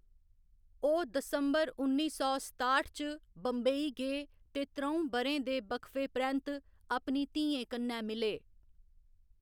ओह्‌‌ दिसंबर उन्नी सौ सताठ च बम्बई गे ते त्र'ऊं ब'रें दे वक्फे परैंत्त अपनी धियें कन्नै मिले।